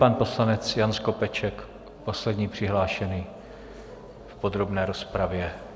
Pan poslanec Jan Skopeček, poslední přihlášený v podrobné rozpravě.